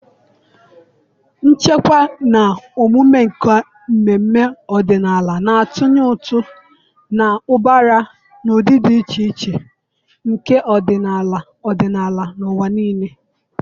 ichekwa na omume nke mmemme ọdịnala, na-atụnye ụtụ na ụbara na ụdị dị iche iche nke ọdịnala ọdịnala n'ụwa niile.